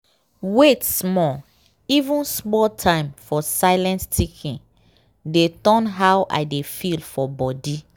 wait small even small time for silent thinking dey turn how i dey feel for body.